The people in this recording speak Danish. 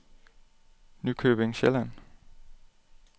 Nykøbing Sjælland